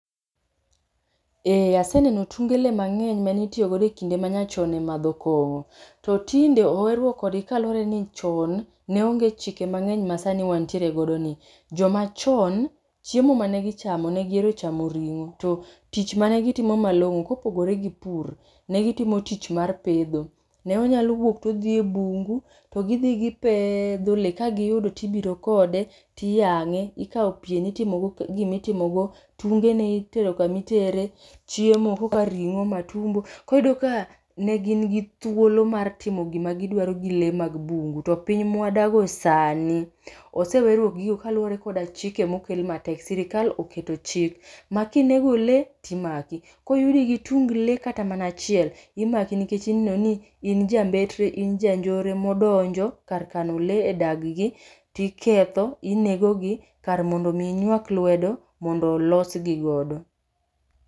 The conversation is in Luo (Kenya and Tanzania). Ee aseneno tunge le mang'eny manitiyogodo e kinde manyachon e madho kong'o. To tinde oweruok kodgi kaluwore ni chon neonge chike mang'eny ma sani wantiere godo ni. Joma chon, chiemo mane gichamo negiero chamo ring'o, to tich mane gitimo malong'o kopogore gi pur ne gitimo pedho. Ne onyalo wuok todhi e bungu to gidhi gipedho le, gagiyudo tibiro kode tiyang'e. Ikawo pien itimogo gimitimogo, tungene itoro kamitere, tungene itero kamitere, chiemo kaka ring'o matumbo. Koriyudo ka ne gin gi thuolo mar timo gima gidwaro gi le mag bungu, to piny mwadago sani oseweruok gi gigo kaluwore koda chike mokel matek. Sirikal oketo chik ma kinego le, timaki. Koyudi gi tung le kata mana achiel, imaki nikech ineno ni in jambetre in ja njore modonjo kar kano le e dag gi tiketho, inego gi kar mondo mi inyuak lwedo mondo olosgi godo.